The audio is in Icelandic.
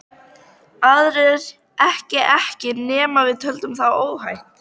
Aðrir ekki ekki nema við teldum það óhætt.